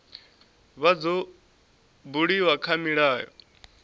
vha dzo buliwa kha milayo